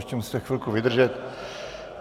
Ještě musíte chvilku vydržet.